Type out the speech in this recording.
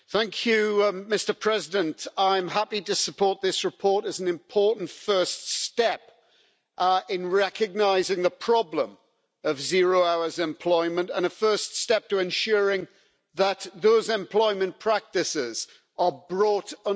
Mr President, I'm happy to support this report as an important first step in recognising the problem of zero-hours employment, and a first step to ensuring that those employment practices are brought under control.